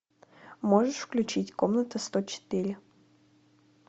можешь включить комната сто четыре